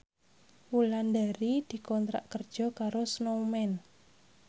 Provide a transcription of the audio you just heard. Wulandari dikontrak kerja karo Snowman